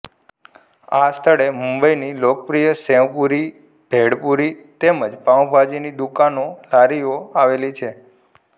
આ સ્થળે મુંબઈની લોકપ્રિય સેવપુરી ભેળપુરી તેમજ પાઉંભાજીની દુકાનોલારીઓ આવેલી છે